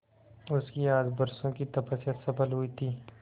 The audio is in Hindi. उसकी आज बरसों की तपस्या सफल हुई थी